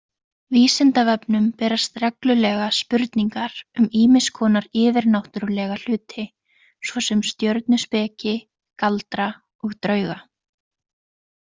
Vísindavefnum berast reglulega spurningar um ýmiss konar yfirnáttúrlega hluti, svo sem stjörnuspeki, galdra og drauga.